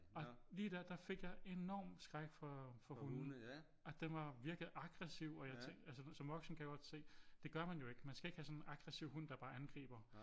Og lige der der fik jeg enorm skræk for hunde og den var virkelig aggressiv og jeg tænkte som voksen kan jeg godt se det gør man jo ikke man skal ikke have sådan en aggressiv hund der bare angriber